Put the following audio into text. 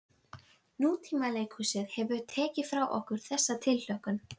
Nútímaleikhúsið hefur tekið frá okkur þessa tilhlökkun.